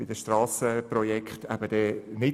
Weshalb also unsere Unterstützung?